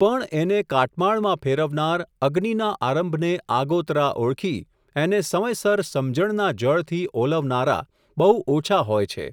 પણ એને કાટમાળમાં ફેરવનાર, અગ્નિના આરંભને આગોતરા ઓળખી, એને સમયસર સમજણના જળથી ઓલવનારા બહુ ઓછા હોય છે.